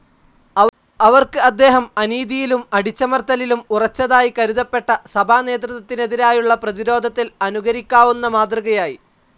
അവർക്ക് അദ്ദേഹം, അനീതിയിലും അടിച്ചമർത്തലിലും ഉറച്ചതായി കരുതപ്പെട്ട സഭാനേതൃത്വത്തിനെതിരായുള്ള പ്രതിരോധത്തിൽ അനുകരിക്കാവുന്ന മാതൃകയായി.